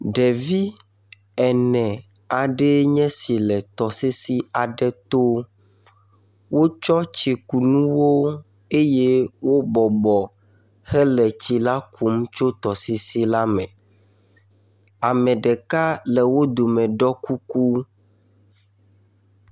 Ɖevi ene aɖee nye esile tɔsisi aɖe to. Wotsɔ tsikunuwo eye wobɔbɔ hele tsi la kum tso tɔsisi la me. Ame ɖeka le wo dome ɖɔ kuku.